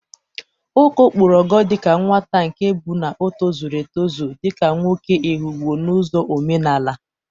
Oko pụrụ ogo dịka nwata nke bụ na o tozuru etụzụ dịka nwoke Ehụgbọ n'ụzọ omenala.